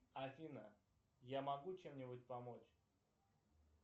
афина я могу чем нибудь помочь